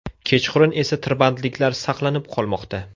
Kechqurun esa tirbandliklar saqlanib qolmoqda.